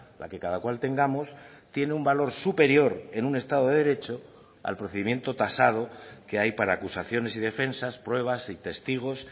la que cada cual tengamos tiene un valor superior en un estado de derecho al procedimiento tasado que hay para acusaciones y defensas pruebas y testigos